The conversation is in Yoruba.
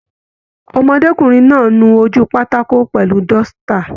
Ọmọdékunrin náà nu ojú pátákó pẹlú dọ́sítà.